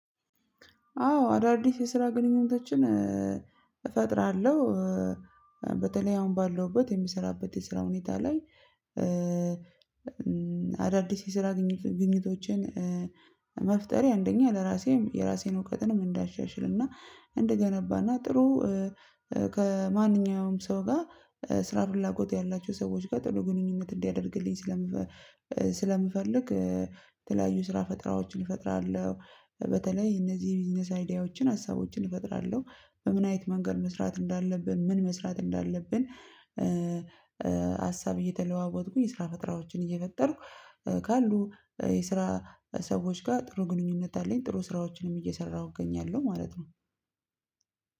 አዎ አዳዲስ የስራ ግንኙነቶችን እፈጥራለሁ በተለይ አሁን ባለውበት የምሰራበት የስራ ሁኔታ ላይ። አዳዲስ የስራ ግኝቶችን። መፍጠሬ አንደኛ ለራሴም የራሴን እውቀትንም እንዳሻሽልና እንደገነባና ጥሩ ከማንኛውም ሰው ጋ ስራ ፍላጎት ያላቸው ሰዎች ጋር ጥሩ ግንኙነት እንዲያደርግልኝ ስለመፈ ስለምፈልግ የተለያዩ ስራ ፈጥራዎችን እፈጥራለሁ። በተለይ እነዚህ የቢዝነስ አይዲያዎችን ሀሳቦችን እፈጥራለሁ። በምን አይነት መንገድ መስራት እንዳለብን ምን መስራት እንዳለብን። ሀሳብ እየተለዋወጥኩኝ የስራ ፈጠራወችን እየፈጠርኩ ካሉ የስራ ሰዎች ጋ ጥሩ ግንኙነት አለኝ። ጥሩ ስራዎችንም እየሰራሁ እገኛለሁ ማለት ነው።